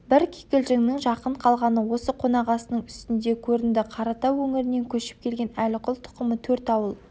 бір кикілжіңнің жақын қалғаны осы қонақасының үстінде көрінді қаратау өңірінен көшіп келген әліқұл тұқымы төрт ауыл